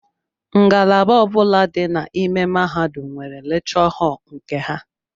Ngalaba ọbula dị n'ime mahadum nwere lekchọ họl nke ha.